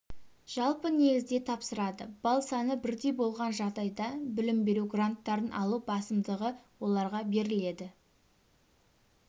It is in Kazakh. жалпы негізде тапсырады балл саны бірдей болған жағдайда білім беру гранттарын алу басымдығы оларға беріледі